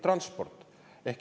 Transport.